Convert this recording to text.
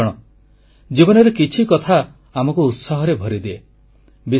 ବନ୍ଧୁଗଣ ଜୀବନରେ କିଛି କଥା ଆମକୁ ଉତ୍ସାହରେ ଭରିଦିଏ